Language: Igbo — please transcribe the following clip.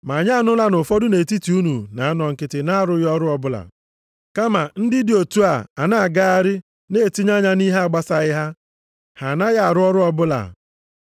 Ma anyị anụla na ụfọdụ nʼetiti unu na-anọ nkịtị na-arụghị ọrụ ọbụla, kama ndị dị otu a na-agagharị, na-etinye anya nʼihe na-agbasaghị ha. Ha anaghị arụ ọrụ ọbụla.